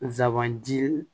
Nsaban ji